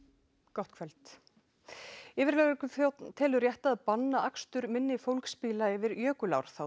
gott kvöld yfirlögregluþjónn telur rétt að banna akstur minni fólksbíla yfir jökulár þá